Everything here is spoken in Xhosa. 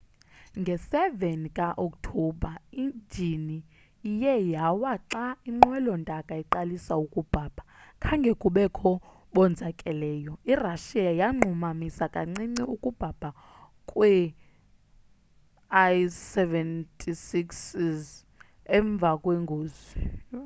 nge 7 ka okthobha injini iye yawa xa inqwelo ntaka iqalisa ukubhabha khange kubekho bonzakaleyo. irussia yanqumamisa kancinci ukubhabha kwee-il-76s emva kwengozi